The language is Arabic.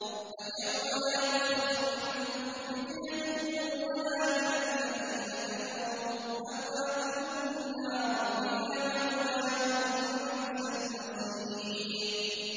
فَالْيَوْمَ لَا يُؤْخَذُ مِنكُمْ فِدْيَةٌ وَلَا مِنَ الَّذِينَ كَفَرُوا ۚ مَأْوَاكُمُ النَّارُ ۖ هِيَ مَوْلَاكُمْ ۖ وَبِئْسَ الْمَصِيرُ